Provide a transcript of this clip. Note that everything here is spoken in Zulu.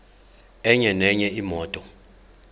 enye nenye imoto